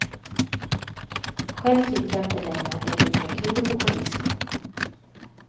Själv tycker jag inte längre att det är lika kul att gå på disco.